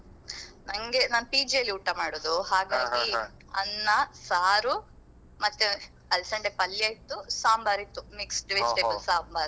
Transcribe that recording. ನಂಗೆ ನಾನ್ PG ಯಲ್ಲಿ ಊಟ ಮಾಡುದು ಹಾಗಾಗಿ ಅನ್ನ ಸಾರು ಮತ್ತೆ ಅಲ್ಸಂಡೆ ಪಲ್ಯ ಇತ್ತು ಸಾಂಬಾರು ಇತ್ತು mixed vegetable ಸಾಂಬಾರ್.